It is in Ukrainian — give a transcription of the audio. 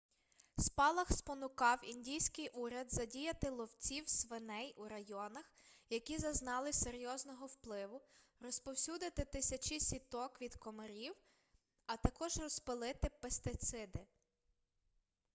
спалах спонукав індійський уряд задіяти ловців свиней у районах які зазнали серйозного впливу розповсюдити тисячі сіток від комарів а також розпилити пестициди